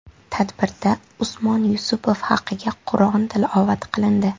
Tadbirda Usmon Yusupov haqiga Qur’on tilovat qilindi.